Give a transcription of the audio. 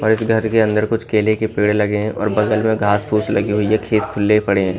और इस घर के अंदर कुछ केले के पेड़ लगे हैं और बगल में घास पूस लगी हुई है खेत खुले पड़े हैं।